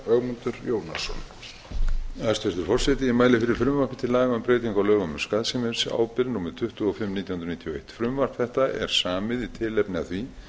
laga um breytingu á lögum um skaðsemisábyrgð númer tuttugu og fimm nítján hundruð níutíu og eitt frumvarp þetta er samið í tilefni af því